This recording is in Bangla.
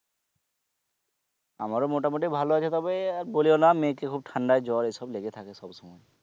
আমারও মোটামুটি ভালো আছে তবে আর বলিও না মেয়েকে খুব ঠান্ডায় জোর এসব লেগে থাকে সব সময়